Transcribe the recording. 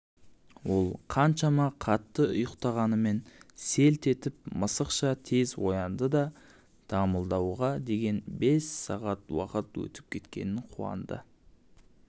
ол қаншама қатты ұйықтағанымен селт етіп мысықша тез оянды да дамылдауға деген бес сағат уақыт өтіп кеткеніне қуанды